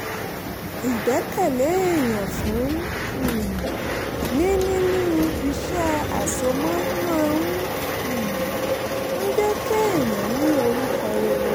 ìgbẹ́kẹ̀lé èyàn fún um ni nínú iṣẹ́ àsomọ́ máa um ń jẹ́ kéèyàn ní orúkọ rere